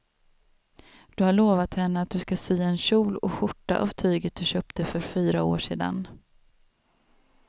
Du har lovat henne att du ska sy en kjol och skjorta av tyget du köpte för fyra år sedan.